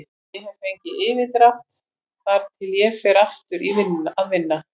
Ég get fengið yfirdrátt þar til ég fer aftur að vinna.